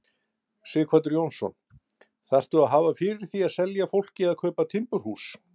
Sighvatur Jónsson: Þarftu að hafa fyrir því að selja fólki að kaupa timburhús?